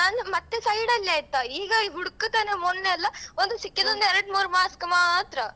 ಈಗ ನಾನ್ ಮತ್ತೆ side ಲ್ಲೇ ಆಯ್ತಾ ಈಗ ಹುಡ್ಕುತೆನೆ ಮೊನ್ನೆಯಲ್ಲ ಒಂದು ಸಿಕ್ಕಿದೊಂದು ಒಂದೆರಡ್ಮೂರು mask ಮಾತ್ರ.